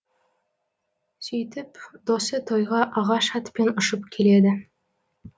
сөйтіп досы тойға ағаш атпен ұшып келеді